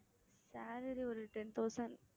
salary ஒரு ten thousand